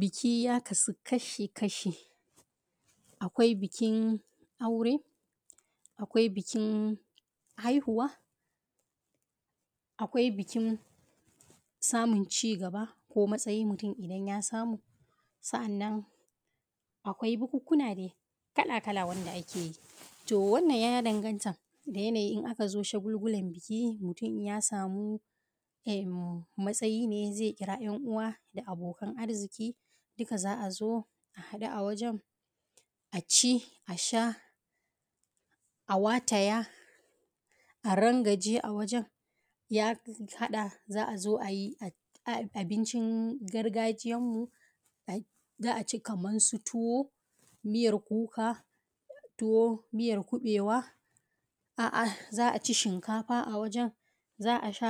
bikiˋ ya kasuˋ kashi-kashi, akwai bikin aureˋ, akwai bikin haihuwaˋ, akwai bikin samun ci gabaˋ ko matsayiˋ idan mutum ya samuˋ, sannan akwai bukukuwaˋ na dai kalaˋ-kalaˋ wandaˋ ake yi. to wannan ya dangantaˋ da yanayiˋ idan aka zo shagulgulan bikiˋ mutum in ya samuˋ matsayiˋ ne zai kiraˋ yan uwa da abokan arzikiˋ dukaˋ za a zo a haɗuˋ awajen aci asha a watayaˋ a rangajeˋ a wajen, ya hadaˋ za a zo da abincin gargajiyanmuˋ za a ci kaman su tuwoˋ miyar kukaˋ, towoˋ miyar kubewaˋ um za a ci shinkafaˋ a wajen za a sha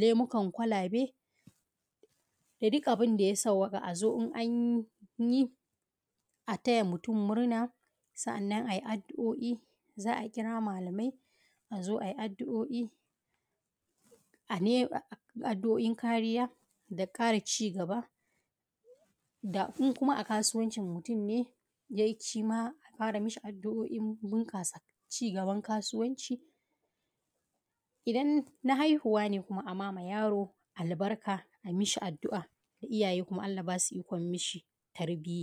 lemukan kwalabeˋ da duk abindaˋdayaˋ sawaƙaˋ a: zo: in anyi a tayaˋa mutum murnaˋa sa’aannan ayi addu’o’i za a kiraˋ malamai a zo ayi addu’a’o’in kariyaˋ da karaˋ ci gaba in kumaˋ a kasuwancin mutum ne ya yi shimaˋ a ƙaraˋ yi mai addu’o’in ci gaban kasuwanciˋ idan na haihuwaˋ ne ayimmaˋ yaroˋ albarkaˋ ai mishi addu’a iyayeˋ kumaˋ allah ya basuˋ ikon mishi tarbiyaˋ